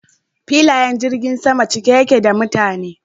Filayen jirgin sama cike yake da mutane.